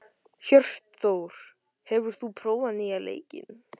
Hjörtþór, hefur þú prófað nýja leikinn?